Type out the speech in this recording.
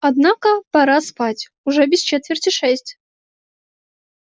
однако пора спать уже без четверти шесть